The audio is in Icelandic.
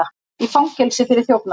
Í fangelsi fyrir þjófnað